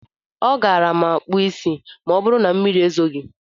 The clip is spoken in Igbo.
A gaara m akpụ isí ma ọbụrụ na mmiri ezoghi.